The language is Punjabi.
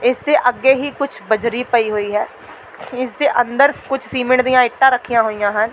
ਇਸ ਦੇ ਅੱਗੇ ਹੀ ਕੁੱਝ ਬਜ਼ਰੀ ਪਈ ਹੋਈ ਹੈ ਇਸ ਦੇ ਅੰਦਰ ਕੁੱਝ ਸੀਮੇਂਟ ਦੀਆਂ ਇੱਟਾਂ ਰੱਖੀਆਂ ਹੋਈਆਂ ਹਨ।